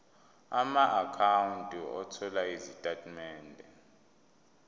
amaakhawunti othola izitatimende